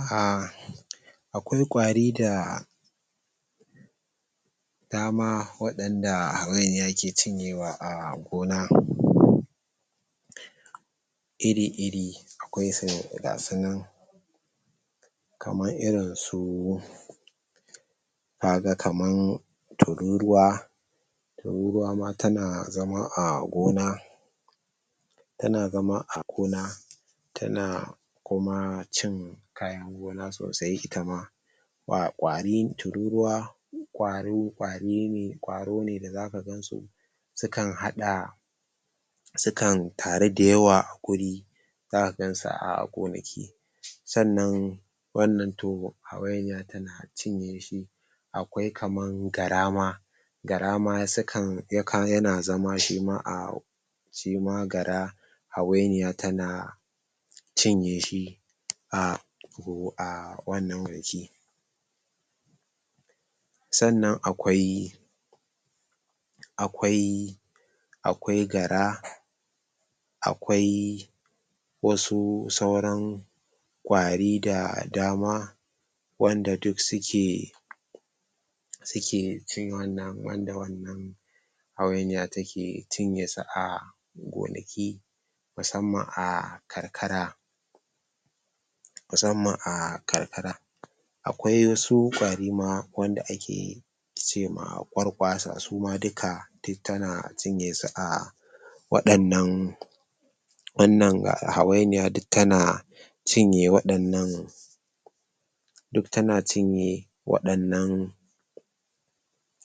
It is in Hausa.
ah akwai ƙwari da dama waɗanda hawainiya ke cinyewa a gona iri-iri akwai su gasunan kamar irin su kaga kaman tururuwa, tururuwa ma tana zama a gona tana zama a gona tana kuma cin kayan gona sosai ita ma ah ƙwarin tururuwa kwaro ƙwari ne ƙwaro ne da zaka gansu sukan haɗa sukan taru da yawa a guri zaka gansu a gonaki sannan wannan toh hawainiya tana cinye shi akwai kaman gara ma gara ma sukan yana zama shima a shima gara hawainiya tana cinye shi a ah wannan sannan akwai akwai akwai gara, akwai wasu sauran ƙwari da dama wanda duk suke suke cinye wannan wanda wannan hawainiya take cinye su a gonaki musamman a karkara musamman a karkara akwai wasu ƙwari ma wanda ake cema ƙwarƙwaasa suma duka duk tana cinye su a wadannan wannan hawainiya duk tana cinye wadannan duk tana cinye wadannan